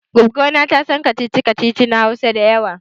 Goggo ta tasan kacici kacici na Hausa da yawa